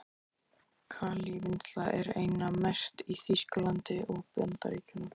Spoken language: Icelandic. Kalívinnsla er einna mest í Þýskalandi og Bandaríkjunum.